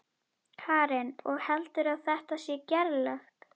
Karen: Og heldurðu að þetta sé gerlegt?